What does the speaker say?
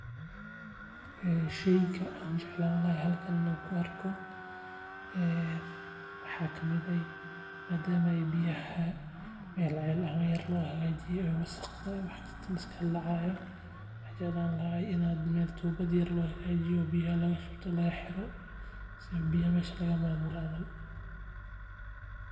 Sheyga aan jeclaan lahaa inaan arko waxaa kamid ah madama biyaha meel ceel ahaan loo hagajiyo waxaan jeclaan lahaa in tuuba loo hagajiyo.